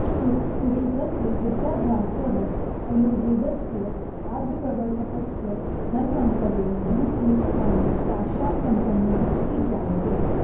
सुश्रुतस्य विद्याभ्यासः अयुर्वेदस्य आद्यप्रवर्तकस्य धन्वन्तरेः गुरुपीठस्थाने काश्यां सम्पन्नः इति ज्ञायते